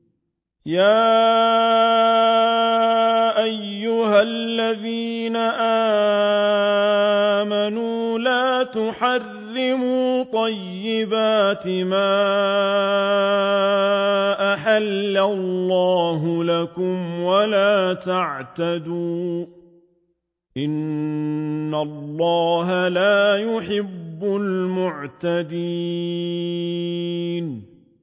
يَا أَيُّهَا الَّذِينَ آمَنُوا لَا تُحَرِّمُوا طَيِّبَاتِ مَا أَحَلَّ اللَّهُ لَكُمْ وَلَا تَعْتَدُوا ۚ إِنَّ اللَّهَ لَا يُحِبُّ الْمُعْتَدِينَ